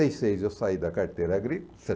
e seis eu saí da carteira agrícola.